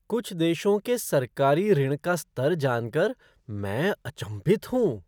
कुछ देशों के सरकारी ऋण का स्तर जान कर मैं अचंभित हूँ।